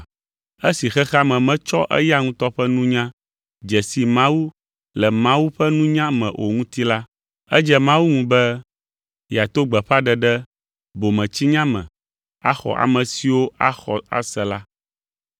Esi xexea me metsɔ eya ŋutɔ ƒe nunya dze si Mawu le Mawu ƒe nunya me o ŋuti la, edze Mawu ŋu be yeato gbeƒãɖeɖe bometsinya me axɔ ame siwo axɔ ase la.